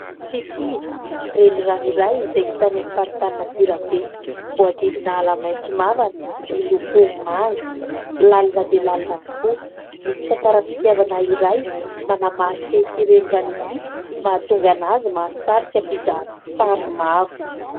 Tritriva, renirano iray izay hita any amin'ny faritany Antsirabe. Voahodidina ala maitso mavana miloko manga ; lalina dia lalina tokoa, misy tantaram-pitiavana iray manamarika ity renirano ity mahatonga anazy mahasarika mpizahatany maro.